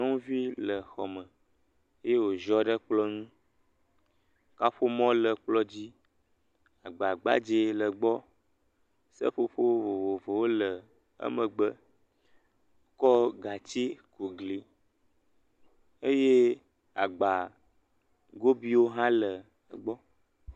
Yevu nyɔnu dzetugbi aɖe tsitre ɖe eƒe dzodoƒe. ele asicrim ɖe asi le ɖuɖu eye wole nu kom.